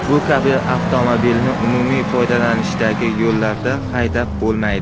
Bu kabi avtomobilni umumiy foydalanishdagi yo‘llarda haydab bo‘lmaydi.